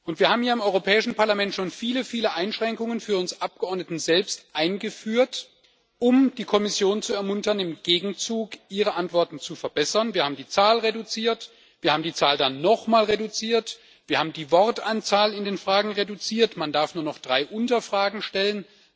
Wir haben hier im Europäischen Parlament schon viele, viele Einschränkungen für uns Abgeordnete selbst eingeführt, um die Kommission zu ermuntern, im Gegenzug ihre Antworten zu verbessern Wir haben die Zahl reduziert, wir haben die Zahl dann nochmal reduziert, wir haben die Wortanzahl in den Anfragen reduziert, man darf nur noch drei Unterfragen stellen.